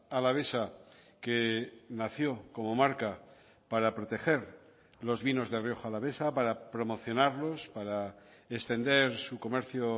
alavesa que nació como marca para proteger los vinos de rioja alavesa para promocionarlos para extender su comercio